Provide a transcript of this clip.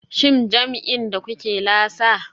Shin jam'in da kuke lasa?